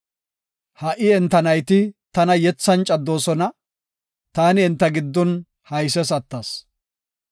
Ha77i enta nayti tana yethan caddoosona; taani enta giddon hayses attas.